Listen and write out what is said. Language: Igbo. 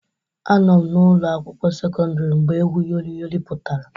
Anọ m na ụlọ akwụkwọ sekọndrị mgbe egwu Yori Yori pụtara